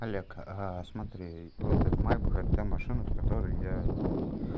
олег смотри вот майбах это та машина в которой я